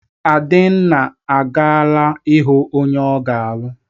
Adenna agaala ịhụ onye ọ ga-alụ.